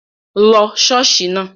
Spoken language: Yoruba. Lọ ṣọ́ọ̀ṣì náà!